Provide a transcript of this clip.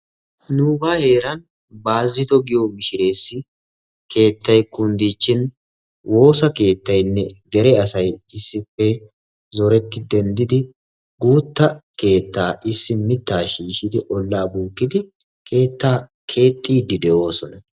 Nuugaa heeran Baazitto giyo mishirees keettay kunddiichchin woossa keettaaynne dere asay issippe zoretti denddidi guuttaa keettaa issi miitaa shiishidi olaa bookkidi keettaa keexxidi de'oosona.